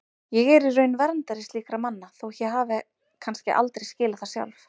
Ég er í raun verndari slíkra manna þótt ég hafi kannski aldrei skilið það sjálf.